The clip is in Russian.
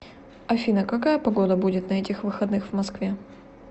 афина какая погода будет на этих выходных в москве